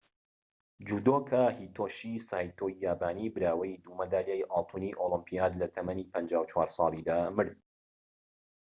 جودۆکا هیتۆشی سایتۆی یابانی براوەی دوو مەدالیای ئاڵتوونی ئۆلۆمیپیاد لە تەمەنی ٥٤ ساڵیدا مرد